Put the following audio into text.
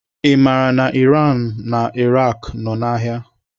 I maara na Iraq nọ n'agha?